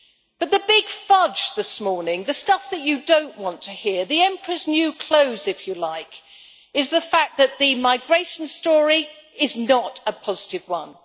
But the big fudge this morning, the stuff that you don't want to hear, the emperor's new clothes, if you like, is the fact that the migration story is not a positive one.